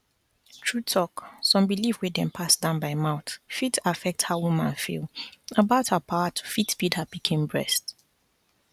true talk some belief wey dem pass down by mouth fit affect how woman feel about her power to fit feed her pikin breast